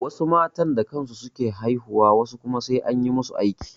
Wasu matan da kansu su ke haihuwa wasu kuma sai an yi masu aiki.